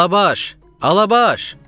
"Alabaş, Alabaş!"